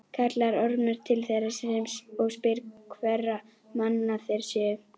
Kallar Ormur til þeirra og spyr hverra manna þeir séu.